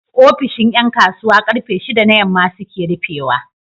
ofishin Yan kasuwa karfe shida na yamma suke rufe wa